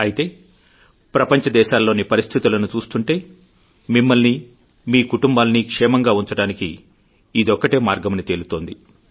అయితే ప్రపంచ దేశాల్లోనిపరిస్థితులను చూస్తుంటే మిమ్మల్ని మీ కుటుంబాల్ని క్షేమంగా ఉంచడానికి ఇదొక్కటే మార్గమని తేలుతుంది